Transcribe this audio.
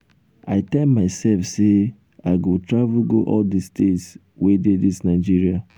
i tell myself say i go travel go all the states wey dey dis nigeria.